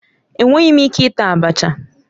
Enweghị m ike ita abacha.